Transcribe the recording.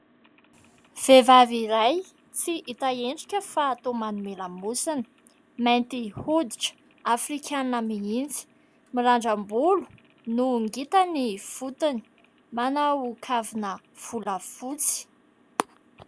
Vehivavy iray tsy hita endrika fa toa manome lamosina ; mainty hoditra, afrikanina mihitsy, mirandram-bolo no ngita ny fotony, manao kavina volafotsy.